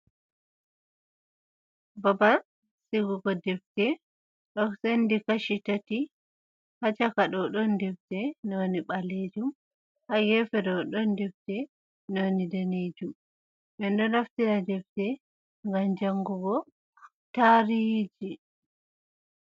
Babal sigugo defte ɗo sendi kachi tati, ha caka ɗo ɗon defte none balejum, ha gefe ɗo ɗon defte noni danejum. ɓe ɗo naftira defte gam jangugo tariji.